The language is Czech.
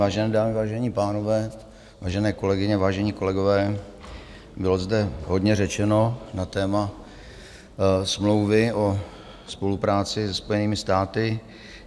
Vážené dámy, vážení pánové, vážené kolegyně, vážení kolegové, bylo zde hodně řečeno na téma smlouvy o spolupráci se Spojenými státy.